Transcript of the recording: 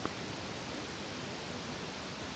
поставь подкасты ютуб